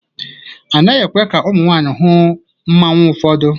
A naghị ekwe ka ụmụ nwanyị hụ mmanwu ụfọdụ.